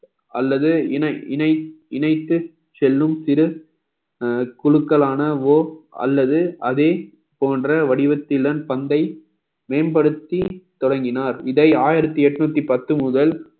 அல்லது இணை~ இணை~ இணைத்து செல்லும் சிறு குழுக்களானவோ அல்லது அதே போன்ற வடிவத்திலன் பந்தை மேம்படுத்தி தொடங்கினார் இதை ஆயிரத்தி எட்நூத்தி பத்து முதல்